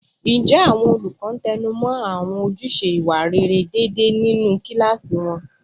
Ǹjẹ́ àwọn olùkọ́ ń tẹnu mọ́ àwọn ojúṣe ìwà rere déédéé nínú kíláàsì wọn?